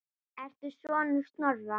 Ertu sonur Snorra?